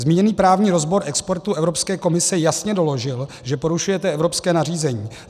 Zmíněný právní rozbor expertů Evropské komise jasně doložil, že porušujete evropské nařízení.